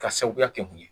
Ka sababuya kɛ mun ye